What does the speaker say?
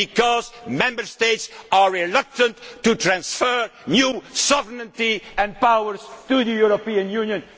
Because the Member States are reluctant to transfer new sovereignty and powers to the European Union.